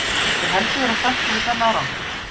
Skyldi Helgi vera sáttur við þann árangur?